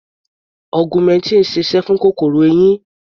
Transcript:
Augmentin sise fún kòkòrò eyín.